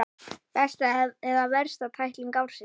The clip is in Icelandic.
Besta eða versta tækling ársins?